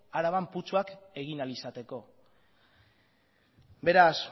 araban putzuak egin ahal izateko beraz